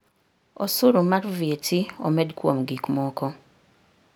Osuru mar VAT omed kuom gik moko.